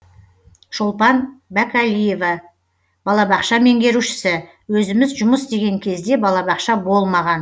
шолпан бәкәлиева балабақша меңгерушісі өзіміз жұмыс істеген кезде балабақша болмаған